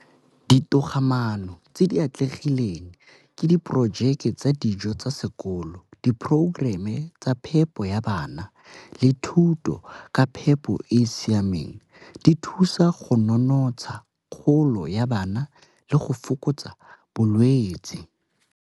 Ditogamaano tse di atlegileng ke di projeke tsa dijo tsa sekolo, di-programme tsa phepo ya bana le thuto ka phepo e e siameng. Di thusa go nonotsha kgolo ya bana le go fokotsa bolwetsi.